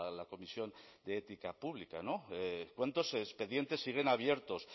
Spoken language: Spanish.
la comisión de ética pública no cuántos expedientes siguen abiertos